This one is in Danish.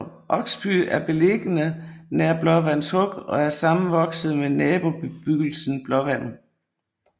Oksby er beliggende nær Blåvands Huk og er sammenvokset med nabobebyggelsen Blåvand